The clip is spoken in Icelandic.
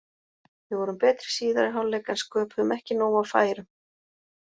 Við vorum betri í síðari hálfleik en sköpuðum ekki nóg af færum.